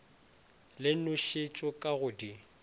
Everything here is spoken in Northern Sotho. le nošetšo ka go di